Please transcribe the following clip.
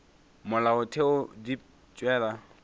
molaotheo wa pele di tšwela